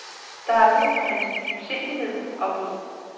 Der er brug for hans dybsindighed og mod.